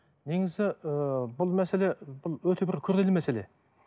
негізі ы бұл мәселе бұл өте бір күрделі мәселе